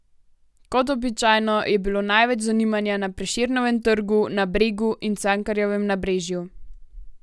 Kot običajno, je bilo največ zanimanja na Prešernovem trgu, na Bregu in Cankarjevem nabrežju.